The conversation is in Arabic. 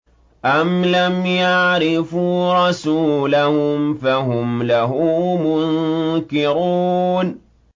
أَمْ لَمْ يَعْرِفُوا رَسُولَهُمْ فَهُمْ لَهُ مُنكِرُونَ